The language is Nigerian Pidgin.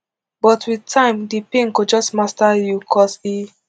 but wit time di pain go just master you cos e